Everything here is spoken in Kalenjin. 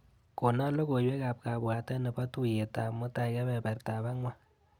Kona logoiwekap kabwatet nebo tuiyetap mutai kebebertap angwan.